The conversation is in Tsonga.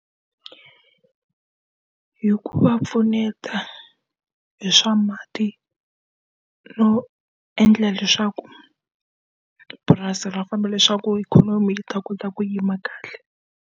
Hi ku va pfuneta hi swa mati, no endla leswaku purasi ra famba leswaku ikhonomi yi ta kota ku yima kahle.